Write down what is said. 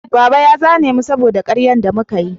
Baba ya zane mu saboda karyan da muka yi